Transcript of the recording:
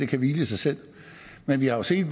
kan hvile i sig selv men vi har set